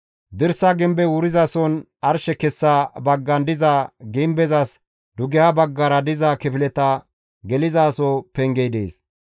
Dirsa gimbey wurizason arshe kessa baggan diza gimbezas dugeha baggara diza kifileta gelizaso pengey dees.